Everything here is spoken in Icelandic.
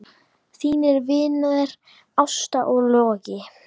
Þínir vinir Ásta og Logi.